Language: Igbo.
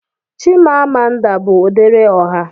Chimamanda bụ odere ọha.